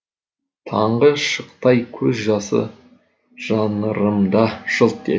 таңғы шықтай көз жасы жанырымда жылт етті